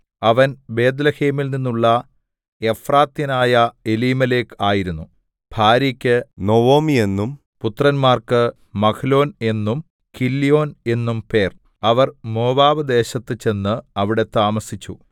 അവൻ ബേത്ത്ലേഹേമിൽ നിന്നുള്ള എഫ്രാത്യനായ എലീമേലെക്ക് ആയിരുന്നു ഭാര്യക്കു നൊവൊമി എന്നും പുത്രന്മാർക്കു മഹ്ലോൻ എന്നും കില്യോൻ എന്നും പേർ അവർ മോവാബ്‌ദേശത്ത് ചെന്നു അവിടെ താമസിച്ചു